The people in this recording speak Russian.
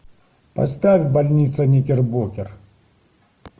поставь больница никербокер